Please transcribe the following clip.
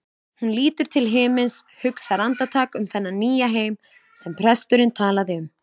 Hún lítur til himins, hugsar andartak um þennan nýja heim sem presturinn talaði um.